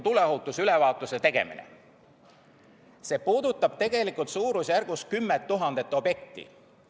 See puudutab tegelikult suurusjärgus 10 000 objekti.